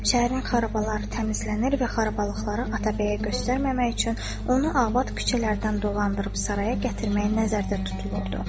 Şəhərin xarabaları təmizlənir və xarabalıqları Atabəyə göstərməmək üçün onu abad küçələrdən dolandırıb saraya gətirmək nəzərdə tutulurdu.